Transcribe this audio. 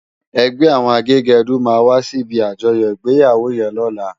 Ègbè áwòn àgégèdú má wàsí ibi ájòyò igbéyáwó yèn lòlá